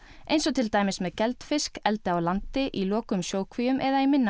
eins og til dæmis með eldi á landi í lokuðum sjókvíum eða í minna